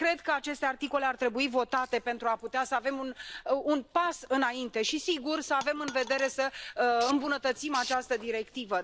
Cred că aceste articole ar trebui votate pentru a putea să avem un pas înainte și, sigur, să avem în vedere să îmbunătățim această directivă.